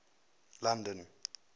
london